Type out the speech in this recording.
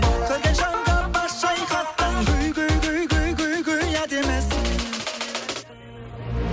көрген жанға бас шайқатқан әдемісің